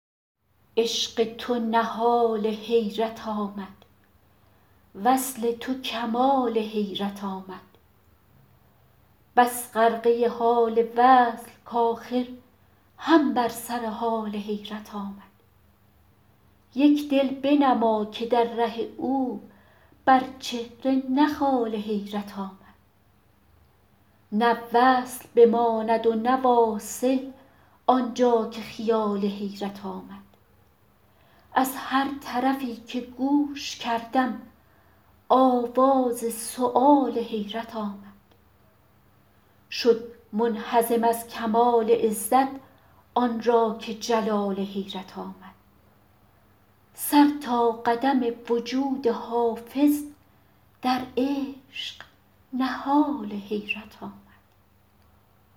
عشق تو نهال حیرت آمد وصل تو کمال حیرت آمد بس غرقه حال وصل کآخر هم بر سر حال حیرت آمد یک دل بنما که در ره او بر چهره نه خال حیرت آمد نه وصل بماند و نه واصل آن جا که خیال حیرت آمد از هر طرفی که گوش کردم آواز سؤال حیرت آمد شد منهزم از کمال عزت آن را که جلال حیرت آمد سر تا قدم وجود حافظ در عشق نهال حیرت آمد